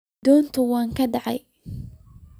Donta way kacde.